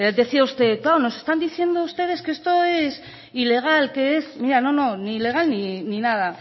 decía usted claro nos están diciendo ustedes que esto es ilegal que es mira no no ni legal ni nada